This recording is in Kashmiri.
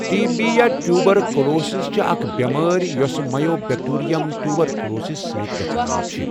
ٹی بی یا ٹیوبَر کُلوسِس چھِ اَکھ بؠمٲرؠ یۄس مَیو بؠکٹیرِیَم ٹیوبَر کُلوسِس سٟتؠ گَژھان چھِ.